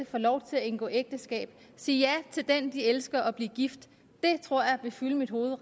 får lov til at indgå ægteskab og sige ja til den de elsker og blive gift det tror jeg vil fylde mit hoved